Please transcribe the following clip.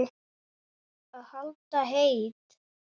Að halda heit